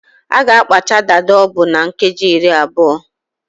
A ga akpacha dada ọbụ na nkeji iri atọ